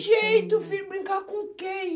jeito, filho, brincar com quem?